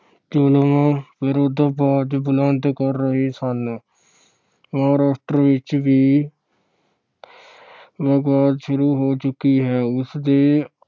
ਜ਼ੁਲਮ ਵਿਰੁੱਧ ਆਵਾਜ਼ ਬੁਲੰਦ ਕਰ ਰਹੇ ਸਨ। ਮਹਾਰਾਸ਼ਟਰ ਵਿੱਚ ਵੀ ਵਿਵਾਦ ਸ਼ੁਰੂ ਹੋ ਚੁੱਕੀ ਹੈ। ਉਸ ਦੇ